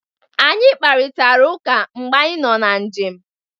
Anyị kparitara ụka mgbe anyị nọ na njem.